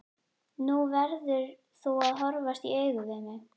Nú verður þú að horfast í augu við mig.